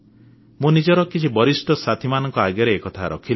ମୁଁ ନିଜର କିଛି ବରିଷ୍ଠ ସାଥିମାନଙ୍କ ଆଗରେ ଏକଥା ରଖିଲି